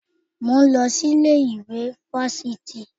Mò ń lọ sí ilé ìwé fáfitì